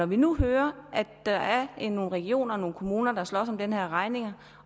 vi nu hører at der er nogle regioner og nogle kommuner der slås om den her regning og